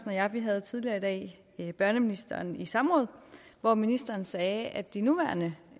og jeg havde tidligere i dag børneministeren i samråd hvor ministeren sagde at de nuværende